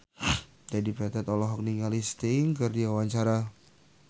Dedi Petet olohok ningali Sting keur diwawancara